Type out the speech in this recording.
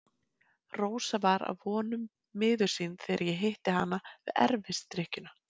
Rósa var að vonum miður sín þegar ég hitti hana við erfisdrykkjuna.